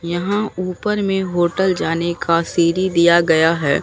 यहां ऊपर में होटल जाने का सीढ़ी दिया गया है।